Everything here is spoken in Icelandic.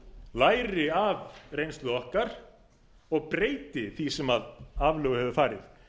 læri af reynslu okkar og breyti því sem aflögu hefur farið